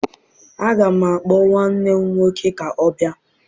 Aga m akpọ nwanne m nwoke ka ọ bịa